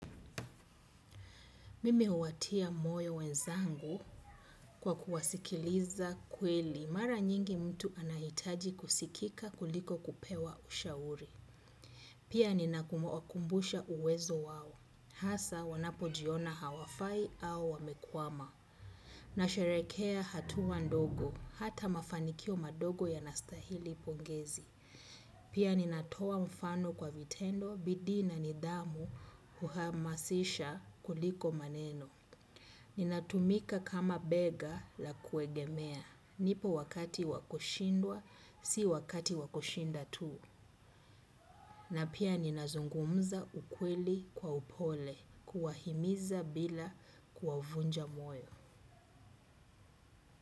Mimi huwatia moyo wenzangu kwa kuwasikiliza kweli mara nyingi mtu anahitaji kusika kuliko kupewa ushauri. Pia ninawakumbusha uwezo wawo. Hasa wanapo jiona hawafai au wamekuwama. Nasharekea hatuwa ndogo. Hata mafanikio madogo yanastahili pongezi. Pia ninatoa mfano kwa vitendo bidii na nidhamu kuhamasisha kuliko maneno. Ninatumika kama bega la kuegemea. Nipo wakati wakushindwa, si wakati wakushinda tu. Na pia ninazungumza ukweli kwa upole, kuwahimiza bila kuwavunja moyo.